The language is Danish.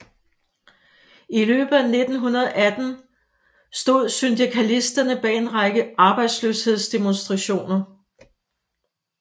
I løbet af 1918 stod syndikalisterne bag en række arbejdsløshedsdemonstrationer